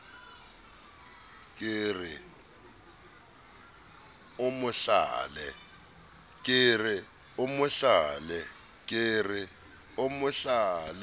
ke re o mo hlale